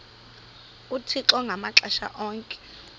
uthixo ngamaxesha onke